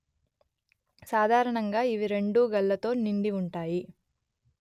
సాధారణంగా ఇవి రెండూ గళ్లతో నిండివుంటాయి